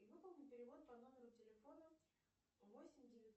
и выполни перевод по номеру телефона восемь девятьсот